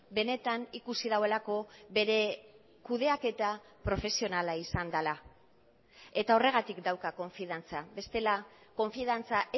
benetan ikusi duelako bere kudeaketa profesionala izan dela eta horregatik dauka konfiantza bestela konfiantza